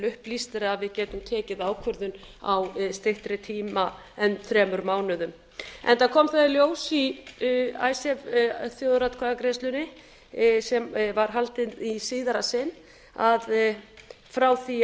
upplýstir að við getum tekið ákvörðun á styttri tíma en þremur mánuðum enda kom það í ljós í icesave þjóðaratkvæðagreiðslunni sem var haldin í síðara sinn að frá því